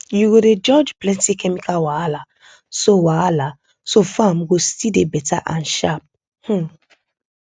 you go dey dodge plenty chemical wahala so wahala so farm go still dey beta and sharp um